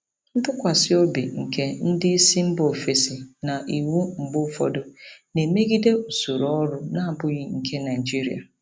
Ntụkwasị obi nke ndị isi mba ofesi na iwu mgbe ụfọdụ na-emegide usoro ọrụ na-abụghị nke Naijiria.